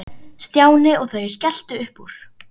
Stjáni og þau skelltu upp úr.